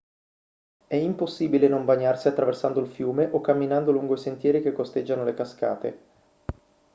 è impossibile non bagnarsi attraversando il fiume o camminando lungo i sentieri che costeggiano le cascate